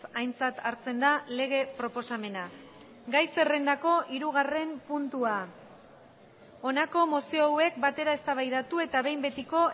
aintzat hartzen da lege proposamena gai zerrendako hirugarren puntua honako mozio hauek batera eztabaidatu eta behin betiko